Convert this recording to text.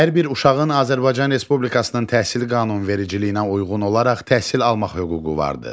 Hər bir uşağın Azərbaycan Respublikasının təhsil qanunvericiliyinə uyğun olaraq təhsil almaq hüququ vardır.